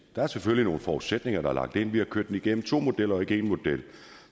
der er selvfølgelig nogle forudsætninger der er lagt ind vi har kørt det igennem to modeller og ikke en model